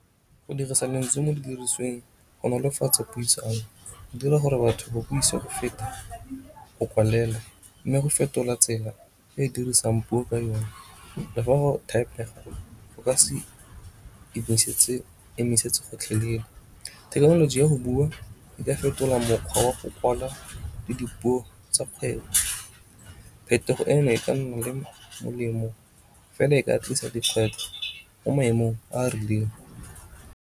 Go dirisa mantswe mo di dirisweng go nolofatsa puisano, go dira gore batho ba buise go feta go kwalela mme go fetola tsela e dirisang puo ka yone. Le fa go go ka se emisetse gotlhelele. Thekenoloji ya go bua e ka fetola mokgwa wa go kwala le dipuo tsa kgwebo. Phetogo eno e ka nna le molemo fela e ka tlisa dikgwetlho mo maemong a a rileng.